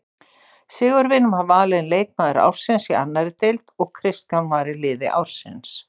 Sigurvin var valinn leikmaður ársins í annarri deildinni og Kristján var í liði ársins.